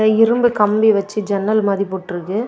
இரும்பு கம்பி வச்சு ஜன்னல் மாதி போட்ருக்கு.